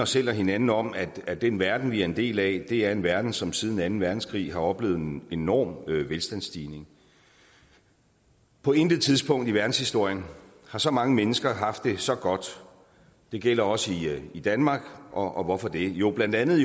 selv og hinanden om at at den verden vi er en del af er en verden som siden anden verdenskrig har oplevet en enorm velstandsstigning på intet tidspunkt i verdenshistorien har så mange mennesker haft det så godt og det gælder også i danmark og hvorfor det jo blandt andet